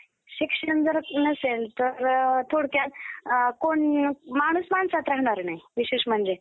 अशीच पदवी, तुम्हाला माहितीय तर्खडकरांना पण होती. लोकहितवादी अनेक पदे व पदव्या शासनाकडून व लोकांकडून मिळवून सन्मानित झाले. भाऊ महाजन यांच्या प्रभाकरमध्ये,